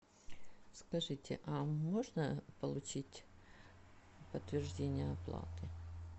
скажите а можно получить подтверждение оплаты